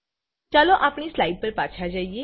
ચાલો આપણી સ્લાઈડ પર પાછા જઈએ